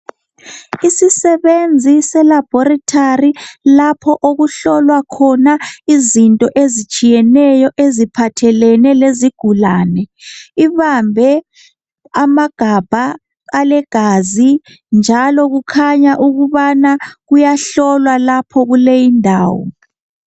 Isisebenzi selaboratory lapho okuhlolwa khona izinto ezitshiyeneyo eziphathelane lezigulane. Ibambe amagabha alegazi njalo kukhanya ukubana kuyahlolwa lapha kuleyindawo.